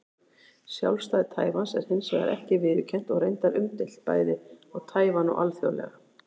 Sjálfstæði Taívans er hins vegar ekki viðurkennt og reyndar umdeilt, bæði á Taívan og alþjóðlega.